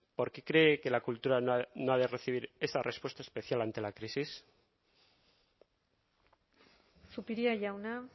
por qué cree que la cultura no ha de recibir esa respuesta especial ante la crisis zupiria jauna